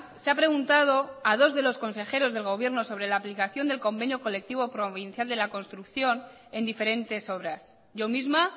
se ha preguntado a dos de los consejeros del gobierno sobre la aplicación del convenio colectivo provincial de la construcción en diferentes obras yo misma